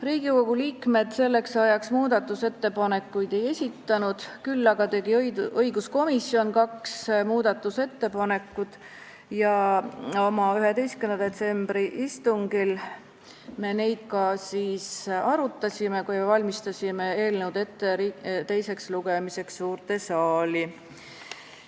Riigikogu liikmed selleks ajaks muudatusettepanekuid ei esitanud, küll aga tegi õiguskomisjon kaks muudatusettepanekut ja komisjoni 11. detsembri istungil me neid arutasime, kui valmistasime eelnõu ette teiseks lugemiseks suures saalis.